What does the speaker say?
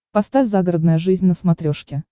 поставь загородная жизнь на смотрешке